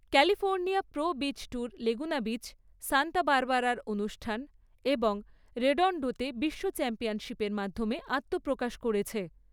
California pro beach tour Laguna beach, Santa বারবারার অনুষ্ঠান এবং রেডন্ডোতে বিশ্ব চ্যাম্পিয়নশিপের মাধ্যমে আত্মপ্রকাশ করেছে।